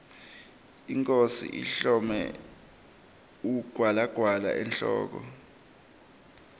inkhosi ihlome ugwalagwala emhloko